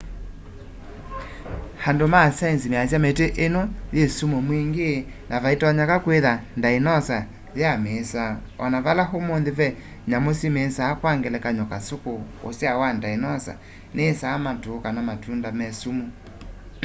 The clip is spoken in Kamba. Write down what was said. andu ma saienzi measya miti ino yi sumu mwingi na vaitonyeka kwitha ndainosa ya miisaa ona vala umunthi ve nyamu simisaa kwa ngelekany'o kasuku usyao wa ndainosa niyiisaa matu kana matunda me sumu